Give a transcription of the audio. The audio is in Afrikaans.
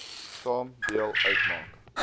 saam deel uitmaak